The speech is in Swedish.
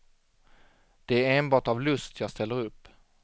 Det är enbart av lust jag ställer upp.